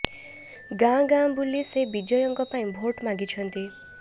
ଗାଁ ଗାଁ ବୁଲି ସେ ବିଜୟଙ୍କ ପାଇଁ ଭୋଟ ମାଗିଛନ୍ତି